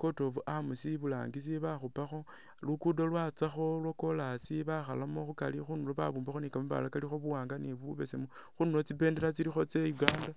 court of arms i'burangisi bakhupakho, lukudo lwatsakho lwakolasi bakhalamo khukari khundulo babumbakho ni kamabaale kalikho buwaanga ni bubesemu khundulo khulikho tsimbendela tsa Uganda